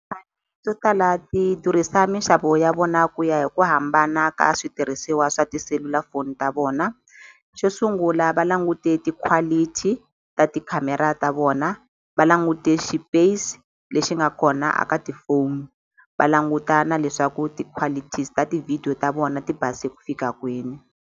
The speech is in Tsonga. to tala ti durhisa mixavo ya vona ku ya hi ku hambana ka switirhisiwa swa tiselulafoni ta vona xo sungula va langute ti-quality ta tikhamera ta vona va langute xipesi lexi nga kona a ka tifoni va languta na leswaku ti-qualities ta ti-video ta vona ti base ku fika kwini.